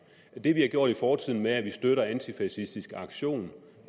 det vi har gjort i fortiden med at vi støttede antifascistisk aktion